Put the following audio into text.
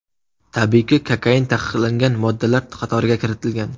Tabiiyki, kokain taqiqlangan moddalar qatoriga kiritilgan.